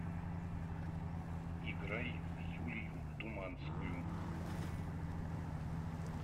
играй юлию думанскую